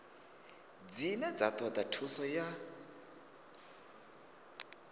dzine dza toda thuso ya